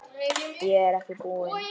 Ég er ekki búinn.